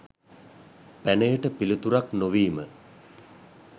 පැනයට පිළිතුරක් නොවීම